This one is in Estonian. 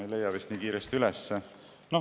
Ei leia vist nii kiiresti üles.